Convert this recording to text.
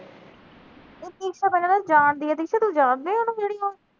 ਦੀਕਸ਼ਾ ਤਾਂ ਕਿਹੜਾ ਜਾਣਦੀ ਆ, ਦੀਕਸ਼ਾ ਤੂੰ ਜਾਣਦੀ ਆਂ, ਉਹਨੂੰ ਨੂੰ